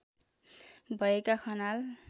भएका खनाल